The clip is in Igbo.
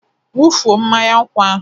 Wụfuo mmanya nkwụ ahụ!